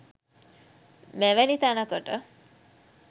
මෙවැනි තැනකට